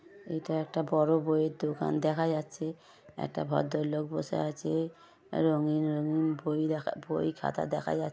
এইটা একটা বড় বইয়ের দোকান দেখা যাচ্ছে একটা ভদ্রলোক বসে আছে আ রঙিন রঙিন বই দেখা বই খাতা দেখা যাচ --